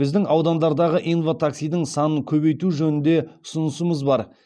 біздің аудандардағы инва таксидің санын көбейту жөнінде ұсынысымыз бар